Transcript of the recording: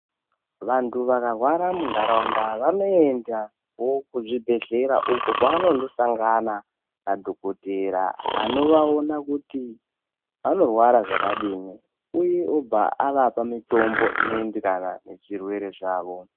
Vantu vakarwara muntaraunda vanoendawo kuzvibhehlera uko kwavanondosangana nadhokotera anovaona kuti vanorwara zvakadini uye obva avapa mitombo inoenderana nezvirwere zvavo.